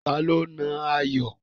Ta ló nà Ayọ̀?